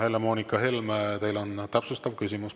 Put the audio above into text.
Helle-Moonika Helme, teil on täpsustav küsimus.